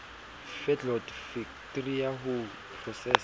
feedlot fektri ya ho prosesa